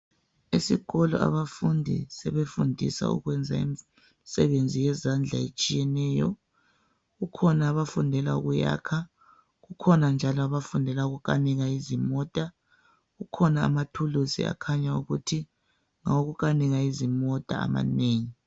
Esikolo abafundi sebefundiswa ukwenza imisebenzi yezandla etshiyeneyo. Kukhona abafundela ukuyakha, kukhona njalo abafundela ukukanika izimota. Kukhona amathulusi akhanya ukuthi ngawokukanika izimota amanengi.